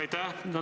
Aitäh!